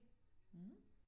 Mh